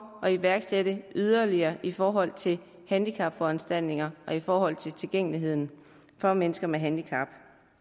at iværksætte yderligere tiltag i forhold til handicapforanstaltninger og i forhold til tilgængelighed for mennesker med handicap